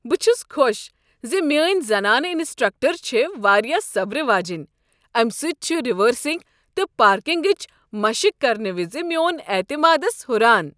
بہٕ چھس خۄش ز میٲنۍ زنانہٕ انسٹرکٹر چھےٚ واریاہ صبرٕ واجیٚنۍ۔ امہ سۭتۍ چھُ ریورسنگ تہٕ پارکنگٕچ مشق کرنہٕ وز میون اعتمادس ہُران۔